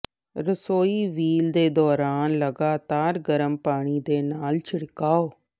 ਰਸੋਈ ਵੀਲ ਦੇ ਦੌਰਾਨ ਲਗਾਤਾਰ ਗਰਮ ਪਾਣੀ ਦੇ ਨਾਲ ਛਿੜਕਾਅ